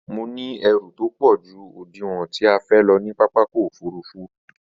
Mo ní ẹrù tópọ̀ ju òdiwọ̀n tí a fẹ́ lọ ní pápákọ̀ òfurufú